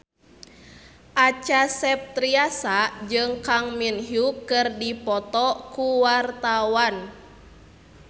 Acha Septriasa jeung Kang Min Hyuk keur dipoto ku wartawan